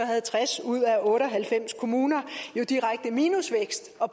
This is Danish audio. havde tres ud af otte og halvfems kommuner jo direkte minusvækst og